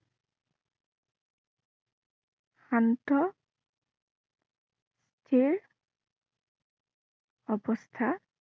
শান্ত যিয়ে অৱস্থা